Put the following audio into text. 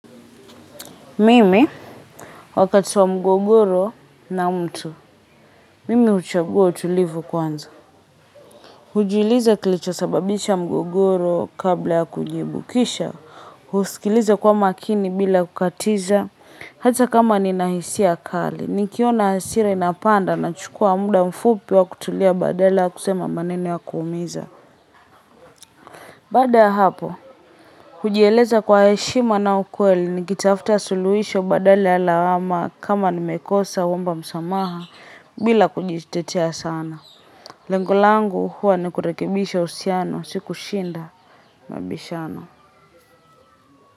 Mimi wakati wa mgogoro na mtu, mimi huchagua utulivu kwanza. Hujiuliza kilichosababisha mgogoro kabla ya kujibu kisha husikiliza kwa makini bila kukatiza. Hata kama nina hisia kali nikiona hasira inapanda nachukua muda mfupi wa kutulia badala kusema maneno ya kuumiza. Baada ya hapo, hujieleza kwa heshima na ukweli nikitafta suluhisho badali ya lawama kama nimekosa naomba msamaha bila kujitetea sana. Lengo langu huwa nikurekibisha uhusiano, sio kushinda mabishano.